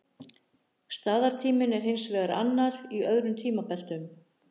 Staðartíminn er hins vegar annar í öðrum tímabeltum.